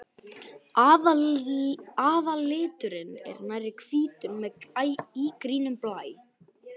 Aðalliturinn er nærri hvítur með ígrænum blæ.